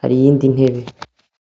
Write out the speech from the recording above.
hari iyindi ntebe.